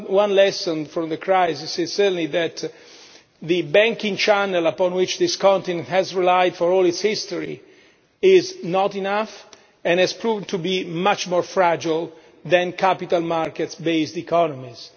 One lesson from the crisis is certainly that the banking channel upon which this continent has relied for all its history is not enough and has proved to be much more fragile than capital market based economies.